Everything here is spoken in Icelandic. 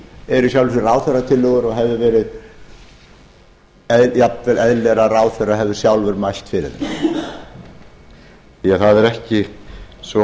eru í sjálfu sér ráðherratillögur og hefði verið jafnvel eðlilegra að ráðherra hefði sjálfur mælt fyrir þeim því að það er ekki svo